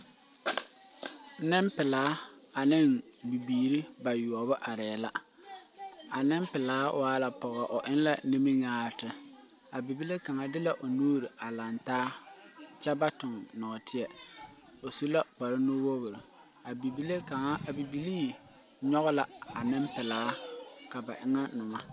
Ninpelaa ane bibiiri bayoubu arẽe la a ninpelaa waa la pɔgɔ ɔ en la niminyaarete a bibile kanga de la ɔ nuuri a langtaa kye ba tung noɔtei ɔ su la kpare nu wuori a bibile kang a bibilee nyuge la a ninpelaa ka ba enga numa.